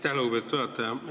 Aitäh, lugupeetud juhataja!